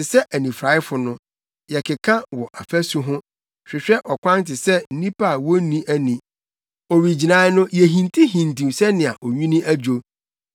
Te sɛ anifuraefo no, yɛkeka wɔ afasu ho hwehwɛ ɔkwan te sɛ nnipa a wonni ani. Owigyinae no yehintihintiw sɛnea onwini adwo; yedu ahoɔdenfo mu a yɛte sɛ awufo.